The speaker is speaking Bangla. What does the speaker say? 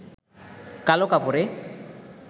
কালো কাপড়ে